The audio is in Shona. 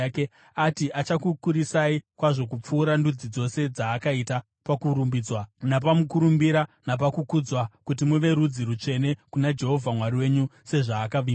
Ati achakukurisai kwazvo kupfuura ndudzi dzose dzaakaita pakurumbidzwa, napamukurumbira napakukudzwa kuti muve rudzi rutsvene kuna Jehovha Mwari wenyu, sezvaakavimbisa.